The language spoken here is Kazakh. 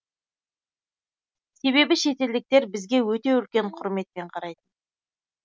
себебі шетелдіктер бізге өте үлкен құрметпен қарайтын